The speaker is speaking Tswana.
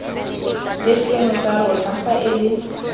le sengwe sa rona faele